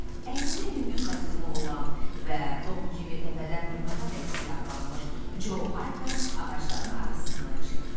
Əynində yüngül kostyumu olan və Tom kimi təpədən dırnağadək silahlanmış Co Harper ağacların arasından çıxdı.